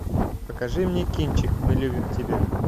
покажи мне кинчик мы любим тебя